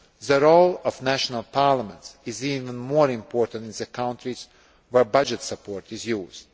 the role of national parliaments is even more important in the countries where budget support is used.